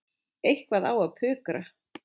Eitthvað á að pukra.